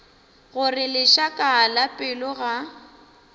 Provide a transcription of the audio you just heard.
gore lešaka la pelo ga